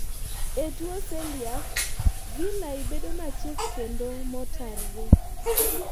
e tuwo celiac, villi bedo machiek kendo motarre